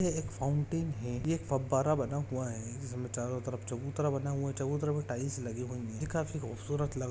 यह एक फाउंटेन है यह एक फव्बारा बना हुआ है जिसमे चारो तरफ चबूतरा बना हुआ है चबूतरा में टाइल्स लगे हुए है यह काफी खूबसूरत लग--